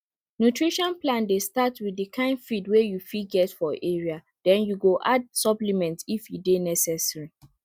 nutrition plan dey start with the kind feed wey you fit get for area then you go add supplement if e dey necessary